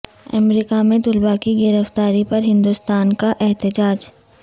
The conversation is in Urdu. امریکہ میں طلباء کی گرفتاری پر ہندوستان کا احتجاج